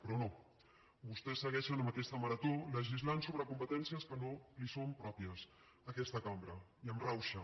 però no vostès segueixen amb aquesta marató legislant sobre competències que no li són pròpies a aquesta cambra i amb rauxa